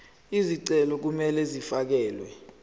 izicelo kumele zifakelwe